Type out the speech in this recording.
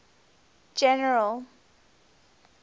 general